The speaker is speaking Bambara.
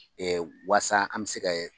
Ee waasa an bɛ se ka